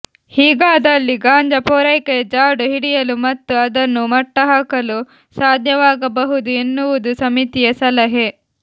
ಹೀಗಾದಲ್ಲಿ ಗಾಂಜಾ ಪೂರೈಕೆಯ ಜಾಡು ಹಿಡಿಯಲು ಮತ್ತು ಅದನ್ನು ಮಟ್ಟಹಾಕಲು ಸಾಧ್ಯವಾಗಬಹುದು ಎನ್ನುವುದು ಸಮಿತಿಯ ಸಲಹೆ